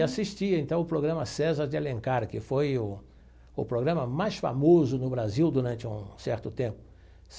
E assistia, então, o programa César de Alencar, que foi o o programa mais famoso no Brasil durante um certo tempo.